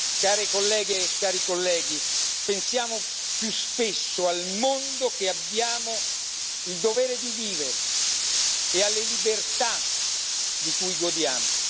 Care colleghe e cari colleghi, pensiamo più spesso al mondo che abbiamo il dovere di vivere e alle libertà di cui godiamo.